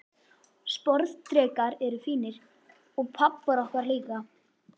Sporðdrekar eru fínir, og pabbar okkar líka.